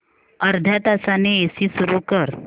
अर्ध्या तासाने एसी सुरू कर